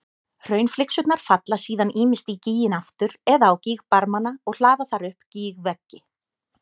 Hraunflygsurnar falla síðan ýmist í gíginn aftur eða á gígbarmana og hlaða þar upp gígveggi.